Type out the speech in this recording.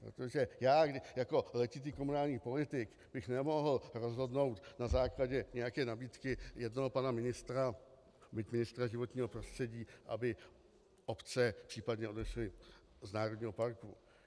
Protože já jako letitý komunální politik bych nemohl rozhodnout na základě nějaké nabídky jednoho pana ministra, byť ministra životního prostředí, aby obce případně odešly z národního parku.